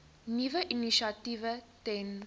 nuwe initiatiewe ten